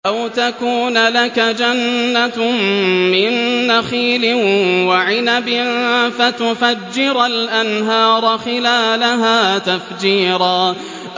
أَوْ تَكُونَ لَكَ جَنَّةٌ مِّن نَّخِيلٍ وَعِنَبٍ فَتُفَجِّرَ الْأَنْهَارَ خِلَالَهَا تَفْجِيرًا